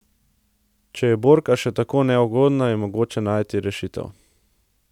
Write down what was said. Če je borka še tako neugodna, je mogoče najti rešitev.